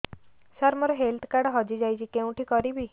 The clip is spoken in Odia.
ସାର ମୋର ହେଲ୍ଥ କାର୍ଡ ହଜି ଯାଇଛି କେଉଁଠି କରିବି